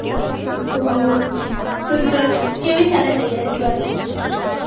તો કેવી ચાલે તૈયારી twelveth